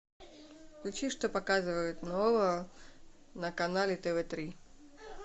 включи что показывают нового на канале тв три